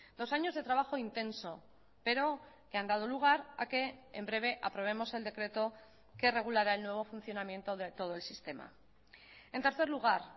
dos años de trabajo intenso pero que han dado lugar a que en breve aprobemos el decreto que regulará el nuevo funcionamiento de todo el sistema en tercer lugar